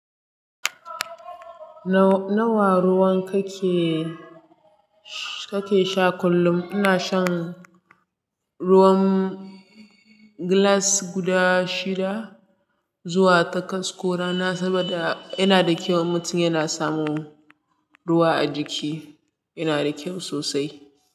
Nawa ruwan kake, kake sha kullum? Ina shan ruwan gilas guda shida zuwa takwas ko rana saboda yana da kyau. Mutum yana samun ruwa a jiki, yana da kyau sosai.